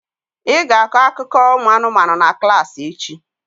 Ị ga-akọ akụkọ ụmụanụmanụ na klassị echi!